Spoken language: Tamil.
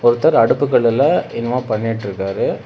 ஒருத்தர் அடுப்பு கல்லுல என்னமோ பண்ணிட்டுருக்காரு.